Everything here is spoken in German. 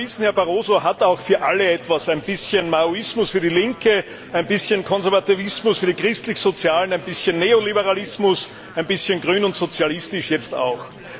Und wir wissen, Herr Barroso hat auch für alle etwas ein bisschen Maoismus für die Linke, ein bisschen Konservativismus für die Christlich Sozialen, ein bisschen Neoliberalismus, und ein bisschen grün und sozialistisch ist er jetzt auch.